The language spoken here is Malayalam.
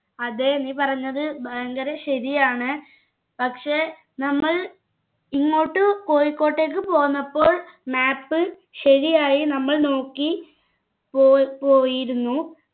അതെ നി പറഞ്ഞത് ഭയങ്കര ശരിയാണ് പക്ഷെ നമ്മൾ ഇങ്ങോട്ട് കോഴിക്കോട്ടേക്ക് പോന്നപ്പോൾ map ശരിയായി നമ്മൾ നോക്കി പോ പോയിരുന്നു